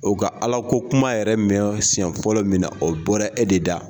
O ka Ala ko kuma yɛrɛ mɛn siyɛn fɔlɔ min na, o bɔra e de da.